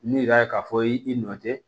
N'i yɛrɛ ka fɔ i nɔ tɛ